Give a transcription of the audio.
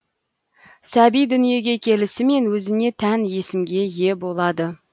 сәби дүниеге келісімен өзіне тән есімге ие болады